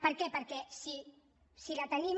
per què perquè si la tenim